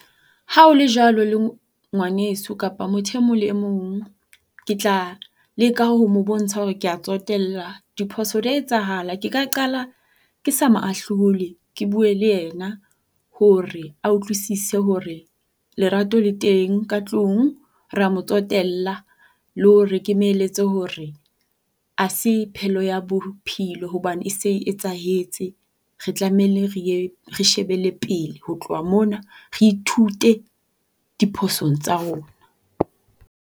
Ha o le jwalo, le ngwaneso kapa motho e mong le e mong, ke tla leka ho mo bontsha hore kea tsotella. Diphoso di a etsahala. Ke ka qala ke sa mo ahlole ke bue le yena hore a utlwisise hore lerato le teng ka tlung. Rea mo tsotella. Le hore ke mo eletse hore ha se phelo ya bophelo hobane e se e etsahetse re tlameile re ye re shebele pele. Ho tloha mona re ithute diphosong tsa rona.